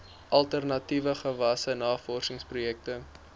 alternatiewe gewasse navorsingsprojekte